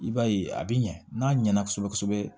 I b'a ye a bɛ ɲɛ n'a ɲɛna kosɛbɛ kosɛbɛ